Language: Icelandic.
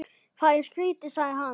Það er skrýtið sagði hann.